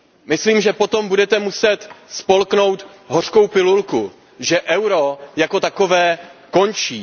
Myslím, že potom budete muset spolknout hořkou pilulku, že euro jako takové končí.